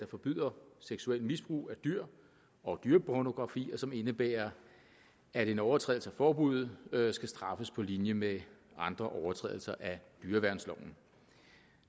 forbyder seksuelt misbrug af dyr og dyrepornografi og som indebærer at en overtrædelse af forbuddet skal straffes på linje med andre overtrædelser af dyreværnsloven